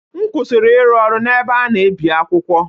M kwụsịrị ịrụ ọrụ n’ebe a na-ebi akwụkwọ.